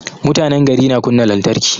Mutanen gari na kunna lantarki